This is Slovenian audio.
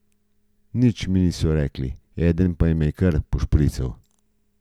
Nič mi niso rekli, eden pa me je kar pošprical.